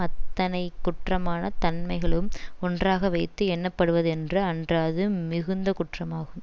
அத்தனை குற்றமான தன்மைகளும் ஒன்றாக வைத்து எண்ணப்படுவதென்று அன்றது மிகுந்த குற்றமாகும்